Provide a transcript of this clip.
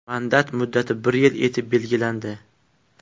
Mandat muddati bir yil etib belgilandi.